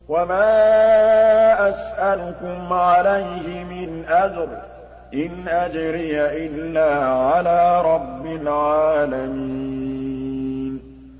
وَمَا أَسْأَلُكُمْ عَلَيْهِ مِنْ أَجْرٍ ۖ إِنْ أَجْرِيَ إِلَّا عَلَىٰ رَبِّ الْعَالَمِينَ